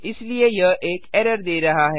इसलिए यह एक एरर दे रहा है